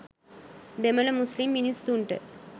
දෙමළ මුස්ලිම් මිනිස්සුන්ට